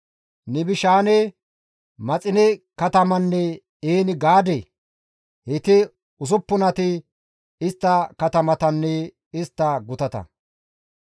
Nibishaane, Maxine katamanne En-Gaade; heyti usuppunati istta katamatanne istta gutata.